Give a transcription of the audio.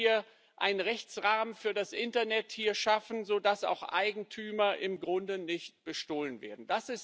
Wollen wir hier einen Rechtsrahmen für das Internet schaffen, sodass auch Eigentümer im Grunde nicht bestohlen werden?